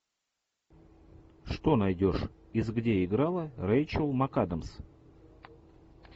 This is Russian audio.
что найдешь из где играла рэйчел макадамс